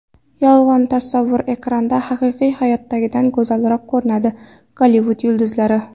Yolg‘on tasavvur: Ekranda haqiqiy hayotdagidan go‘zalroq ko‘rinadigan Gollivud yulduzlari .